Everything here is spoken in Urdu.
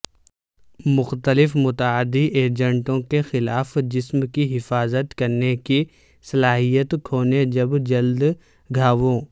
مختلف متعدی ایجنٹوں کے خلاف جسم کی حفاظت کرنے کی صلاحیت کھونے جب جلد گھاووں